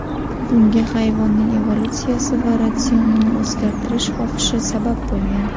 Bunga hayvonning evolyutsiyasi va ratsionini o‘zgaritirish xohishi sabab bo‘lgan.